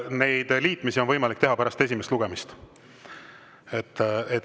Neid liitmisi on võimalik teha pärast esimest lugemist.